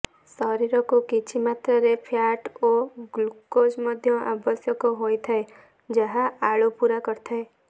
ଶରୀରକୁ କିଛି ମାତ୍ରାରେ ଫ୍ୟାଟ ଓ ଗ୍ଲୁକୋଜ ମଧ୍ୟ ଆବଶ୍ୟକ ହୋଇଥାଏ ଯାହା ଆଳୁ ପୁରା କରିଥାଏ